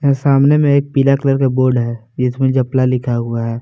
सामने में एक पीला कलर का बोर्ड है जिसमें जपला लिखा हुआ है।